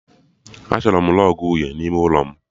Achọrọ m rọgụ uhie n'ime ụlọ m